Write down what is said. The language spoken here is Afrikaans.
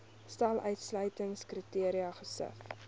stel uitsluitingskriteria gesif